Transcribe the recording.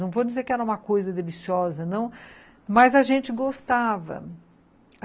Não vou dizer que era uma coisa deliciosa, não, mas a gente gostava.